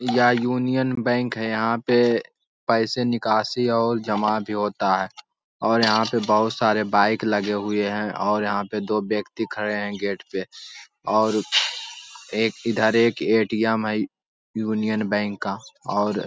यहाँ union bank है। यहाँ पे पैसे निकासी और जमा भी होता है और यहाँ पे बहुत सारे बाईक लगे हुए हैं और यहाँ पे दो व्यक्ति खड़े हैं गेट पे और एक इधर एक ए.टी.एम. है यू यूनियन बैंक का और --